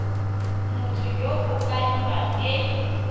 motho yo o kaiwang e